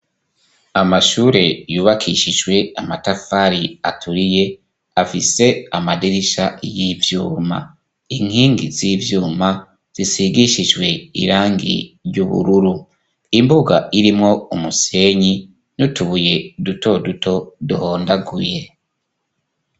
Amashure yubakishijwe amatafari aturiye, afise amadirisha y'ivyuma. Inkingi z'ivyuma zisigishijwe irangi ry'ubururu. Imbuga irimwo umusenyi n'utubuye duto duto duhondaguye.